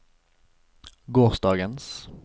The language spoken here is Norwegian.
gårsdagens